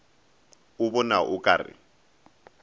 o bona o ka re